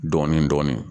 Dɔɔnin dɔɔnin